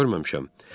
görməmişəm.